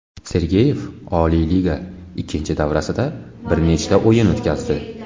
Sergeyev Oliy Liga ikkinchi davrasida bir nechta o‘yin o‘tkazdi.